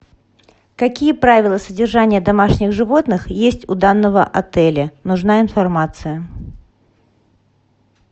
какие правила содержания домашних животных есть у данного отеля нужна информация